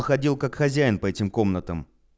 ходил как хозяин по этим комнатам